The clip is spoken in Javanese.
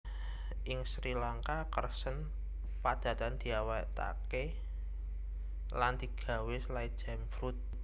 Ing Srilangka Kersen padatan diawètaké lan digawé selai jam fruit